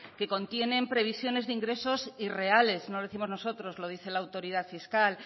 que contienen previsiones de ingresos irreales no lo décimos nosotros lo dice la autoridad fiscal